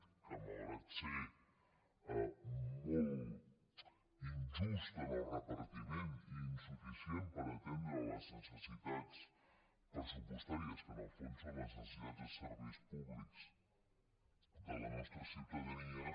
que malgrat ser molt injust en el repartiment i insuficient per atendre les necessitats pressupostàries que en el fons són les necessitats de serveis públics de la nostra ciutadania